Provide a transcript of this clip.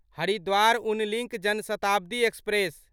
हरिद्वार उन link Janshatabdi express